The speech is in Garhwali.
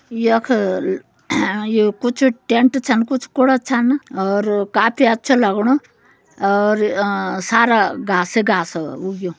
यख यु कुछ टेंट छन कुछ कुड़ा छन और काफी अच्छा लग्णु और अं सारा घास घास उग्युं।